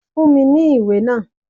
Fún mi ní ìwé náà.